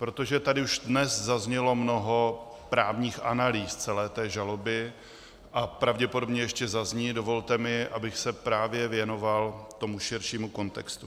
Protože tady už dnes zaznělo mnoho právních analýz celé té žaloby a pravděpodobně ještě zazní, dovolte mi, abych se právě věnoval tomu širšímu kontextu.